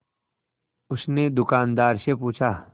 उसने दुकानदार से पूछा